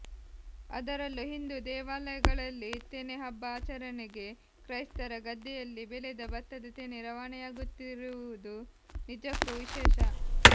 ಅದರಲ್ಲೂ ಹಿಂದೂ ದೇವಾಲಯಗಳಲ್ಲಿ ತೆನೆ ಹಬ್ಬ ಆಚರಣೆಗೆ ಕ್ರೈಸ್ತರ ಗದ್ದೆಯಲ್ಲಿ ಬೆಳೆದ ಭತ್ತದ ತೆನೆ ರವಾನೆಯಾಗುತ್ತುರುವುದು ನಿಜಕ್ಕೂ ವಿಶೇಷ